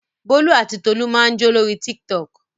Bólú àti Tolú máa ń jó lórí Tiktok.